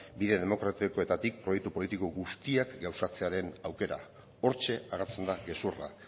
bide demokratikoetatik proiektu politiko guztiak gauzatzearen aukera hortxe agertzen da gezurra